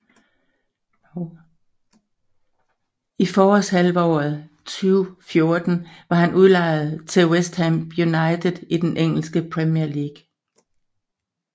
I forårshalvåret 2014 var han udlejet til West Ham United i den engelske Premier League